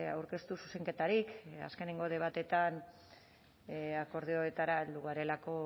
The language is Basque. aurkeztu zuzenketarik azkeneko debateetan akordioetara heldu garelako